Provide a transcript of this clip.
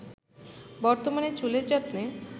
বর্তমানে চুলের যত্নে